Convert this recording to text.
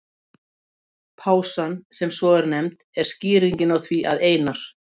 Pásan, sem svo er nefnd, er skýringin á því að Einar